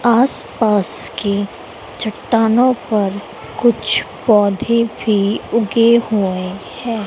आस पास के चट्टानों पर कुछ पौधे भी उगे हुए हैं।